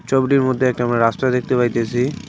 ছবিটির মধ্যে একটা আমরা রাস্তা দেখতে পাইতাসি।